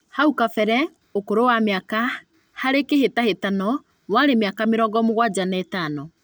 Hau kabere ũkũrũ wa mĩaka harĩ kĩhĩtahĩtano warĩ mĩaka mĩrongo mũgwanja na ĩtano